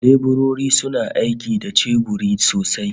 Leburori suna aiki da ceburori sosai